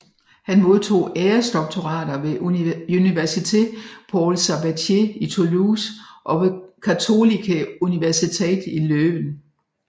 Han modtog æresdoktorater ved Université Paul Sabatier i Toulouse og ved Katholieke Universiteit Leuven